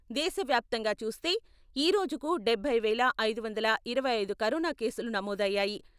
దేశ వ్యాప్తంగా చూస్తే ఈ రోజుకు డబ్బై వేల ఐదు వందల ఇరవై ఐదు కరోనా కేసులు నమోదు అయ్యాయి.